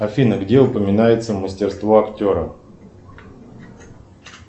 афина где упоминается мастерство актера